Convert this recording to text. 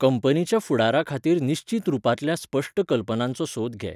कंपनीच्या फुडारा खातीर निश्चीत रुपांतल्या, स्पश्ट कल्पनांचो सोद घे.